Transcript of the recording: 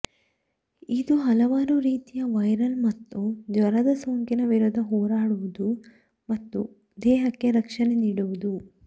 ಇದು ಹಲವಾರು ರಿತಿಯ ವೈರಲ್ ಮತ್ತು ಜ್ವರದ ಸೋಂಕಿನ ವಿರುದ್ಧ ಹೋರಾಡುವುದು ಮತ್ತು ದೇಹಕ್ಕೆ ರಕ್ಷಣೆ ನೀಡುವುದು